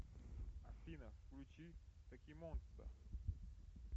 афина включи токимонста